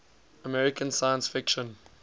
american science fiction